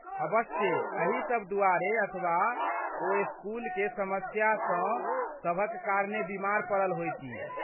अबस्से एही सब दुआरे अथवा ओ स्कूलेकेँ समस्यासँ सभक कारणेँ बीमार पड़ल होयतीह।